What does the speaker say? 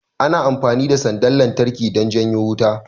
Ana amfani da sandar lantarki don janyo wuta